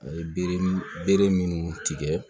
A ye bere minnu tigɛ